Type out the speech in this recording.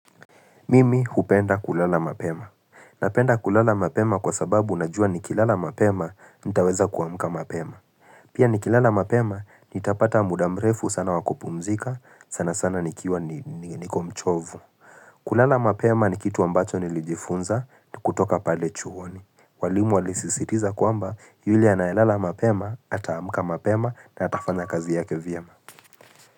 Mimi hupenda kulala mapema. Napenda kulala mapema kwa sababu najua nikilala mapema, nitaweza kuamka mapema. Pia nikilala mapema, nitapata muda mrefu sana wakupumzika, sana sana nikiwa niko mchovu. Kulala mapema ni kitu ambacho nilijifunza, kutoka pale chuoni. Walimu walisisitiza kwamba, yuli anayelala mapema, ataamka mapema, na atafanya kazi yake vyema.